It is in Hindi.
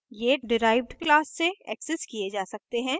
ये derived class से accessed किये जा सकते हैं